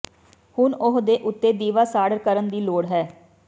ਹੁਣ ਉਹ ਦੇ ਉੱਤੇ ਦੀਵਾ ਸਾੜ ਕਰਨ ਦੀ ਲੋੜ ਹੈ